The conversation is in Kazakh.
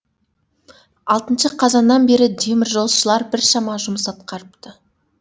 алтыншы қазаннан бері теміржолшылар біршама жұмыс атқарыпты